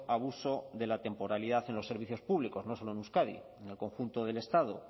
abuso de la temporalidad en los servicios públicos no solo en euskadi en el conjunto del estado